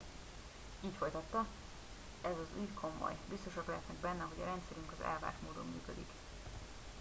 így folytatta ez az ügy komoly biztosak lehetnek benne hogy a rendszerünk az elvárt módon működik